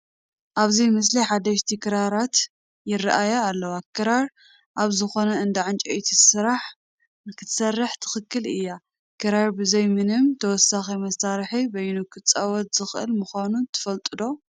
ኣብዚ ምስሊ ሓደሽቲ ክራራት ይርአያ ኣለዋ፡፡ ክራር ኣብ ዝኾነ እንዳ ዕንጨይቲ ስራሕ ክትስራሕ ትኽእል እያ፡፡ ክራር ብዘይ ምንም ተወሳኪ መሳርሒ በይኑ ክፅወት ዝኽእል ምዃኑ ትፈልጡ ዶ?